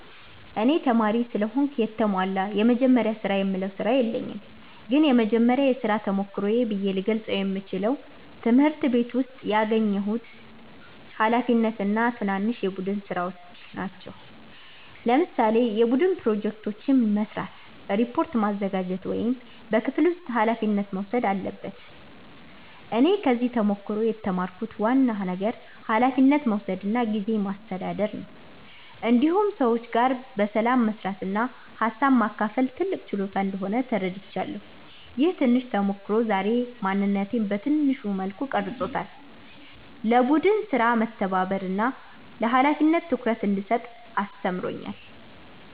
እኔ ተማሪ ስለሆንኩ የተሟላ “የመጀመሪያ ስራ”የምለው ስራ የለኝም ግን የመጀመሪያ የሥራ ተሞክሮዬ ብዬ ልገልጸው የምችለው ትምህርት ቤት ውስጥ ያገኘሁት ኃላፊነት እና ትናንሽ የቡድን ሥራዎች ናቸው። ለምሳሌ የቡድን ፕሮጀክት መስራት፣ ሪፖርት ማዘጋጀት ወይም በክፍል ውስጥ ኃላፊነት መውሰድ አለበት እኔ ከዚህ ተሞክሮ የተማርኩት ዋና ነገር ኃላፊነት መውሰድ እና ጊዜ ማስተዳደር ነው። እንዲሁም ሰዎች ጋር በሰላም መስራት እና ሀሳብ ማካፈል ትልቅ ችሎታ እንደሆነ ተረድቻለሁ። ይህ ትንሽ ተሞክሮ ዛሬ ማንነቴን በትንሹ መልኩ ቀርጾታል፤ ለቡድን ሥራ መተባበርን እና ለኃላፊነት ትኩረት እንድሰጥ አስተምሮኛል።